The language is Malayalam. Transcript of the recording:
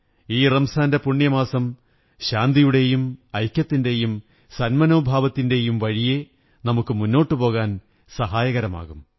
ഈ റംസാന്റെ പുണ്യമാസം ശാന്തിയുടെയും ഐക്യത്തിന്റെയും സന്മനോഭാവത്തിന്റെയും വഴിയെ നമുക്കു മുന്നോട്ടു പോകാൻ സഹായകമാകും